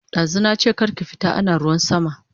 Dazu nache kar ki fita ana ruwan sama